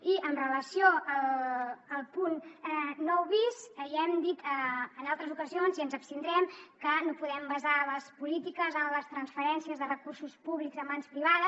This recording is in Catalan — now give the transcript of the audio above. i amb relació al punt nou bis ja hem dit en altres ocasions i ens hi abstindrem que no podem basar les polítiques en les transferències de recursos públics a mans privades